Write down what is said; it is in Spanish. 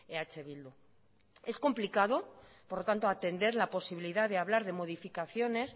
eh bildu es complicado por lo tanto atender la posibilidad de hablar de modificaciones